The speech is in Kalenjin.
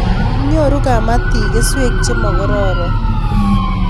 Nyoru kapatik keswek che mokororon